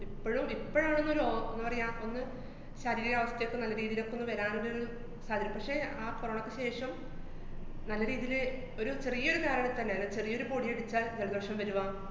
ഇപ്പഴും ഇപ്പഴാണൊന്നൊരു ഓ~ ന്താ പറയാ, ഒന്ന് ശരീര അവസ്ഥേക്കെ നല്ല രീതീലൊക്കെ ഒന്ന് വരാനൊരു പക്ഷെ ആ corona യ്ക്ക് ശേഷം നല്ല രീതീല് ഒരു ചെറിയൊരു , അല്ലെ ചെറിയൊരു പൊടി അടിച്ചാല്‍ ജലദോഷം വരുവ.